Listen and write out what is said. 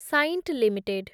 Cyient limited